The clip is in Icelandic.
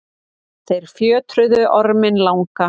þeir fjötruðu orminn langa